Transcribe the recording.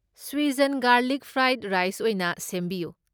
Schezwan garlic fried rice ꯑꯣꯏꯅ ꯁꯦꯝꯕꯤꯌꯨ꯫